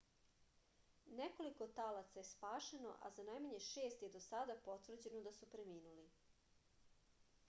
nekoliko talaca je spašeno a za najmanje šest je do sada potvrđeno da su preminuli